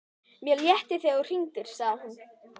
Mér létti þegar þú hringdir, sagði hún.